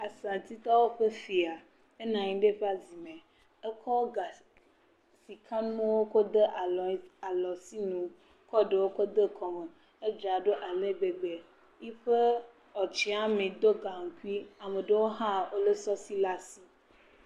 Fantitɔwo ƒe fia. Enɔ nyi ɖe eƒe zi me. Ekɔ ga sikanuwo kɔ de alɔtsinu. Ekɔ ɖewo kɔ de kɔme. Edzra ɖo ale gbegbe. Yiƒe tsiami ɖo gaŋkui. Ame aɖewo hã le sɔsi le asi.